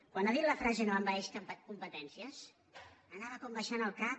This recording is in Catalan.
quan ha dit la frase no envaeix competències anava com abaixant el cap